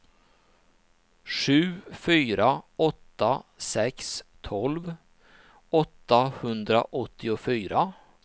sju fyra åtta sex tolv åttahundraåttiofyra